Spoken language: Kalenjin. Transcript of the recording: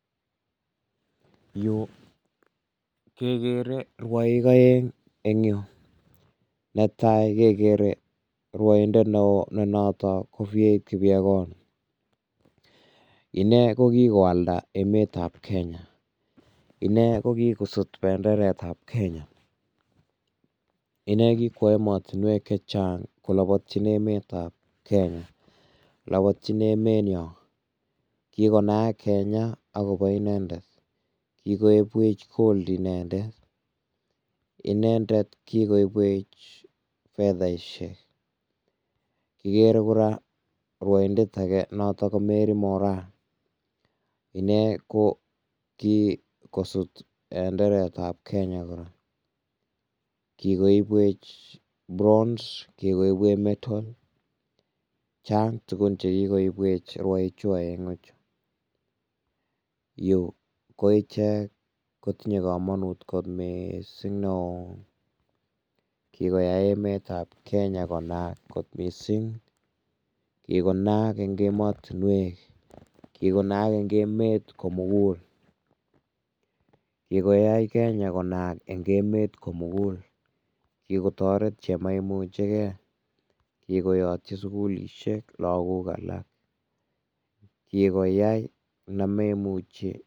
Yu kekere rwoik aeng eng yu netai kekere rwoindet neo ne notok ko Faith kipyegon, inee ko kikoyalda emet ab Kenya, inee ko kikosut benderet ab Kenya, inee ko kikwo emotinwek chechang kolobotyin emetab Kenya, lapoytin emet nyon, kikonayak Kenya akobo inendet, kikoibwech gold inendet, inendet kikoibwech fedhaishek, kikere kora rwoindet ake noton ko marry moraa, inendet ko kikosut benderet ab Kenya kora, kikoibwech bronze kikoibwech metal, chang tuguk che kikoibwech rwoiik chu aengu chu, Yu ko ichek kotinye kamonut kot mising neo, kikoyay emet ab Kenya konaak kot mising, kikonaak eng emotinuek, kikonaak eng emet komukul, kikoyay Kenya konaak eng emet komukul, kikotoret che moimucheke, kikoyotchi sukulishek lakok alak, kikoyay ne moimuchi.